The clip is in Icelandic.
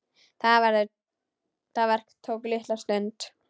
Það verk tók litla stund.